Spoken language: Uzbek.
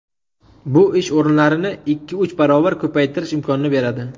Bu ish o‘rinlarini ikki-uch barobar ko‘paytirish imkonini beradi.